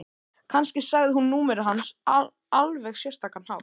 Kannski sagði hún númerið hans á alveg sérstakan hátt.